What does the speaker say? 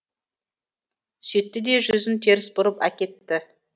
сөйтті де жүзін теріс бұрып әкетті